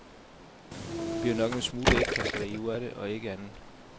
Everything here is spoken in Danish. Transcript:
Der bliver nok en smule ægkasteri ud af det og ikke andet.